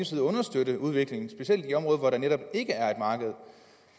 side understøtte udviklingen specielt i områder hvor der netop ikke er et marked